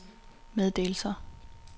meddelelser